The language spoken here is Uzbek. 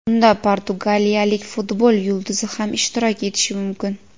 Unda portugaliyalik futbol yulduzi ham ishtirok etishi mumkin.